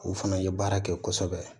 O fana ye baara kɛ kosɛbɛ